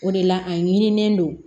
O de la a ɲinilen don